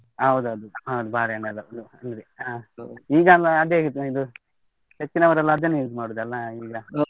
ಹೌದೌದು, ಹೌದ್ ಬಾಳೆಹನ್ನೆಲ್ಲ ಈಗ ಎಲ್ಲ ಅದೇ ಅಲ್ಲ ತಿನ್ನುದ್, ಹೆಚ್ಚಿನವರೆಲ್ಲ ಅದನ್ನೇ use ಮಾಡುದಲ್ಲ ಈಗ.